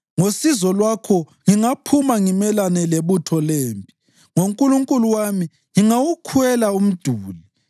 Ngosizo lwakho ngingaphuma ngimelane lebutho lempi, ngoNkulunkulu wami ngingawukhwela umduli.